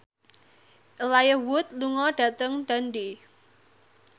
Elijah Wood lunga dhateng Dundee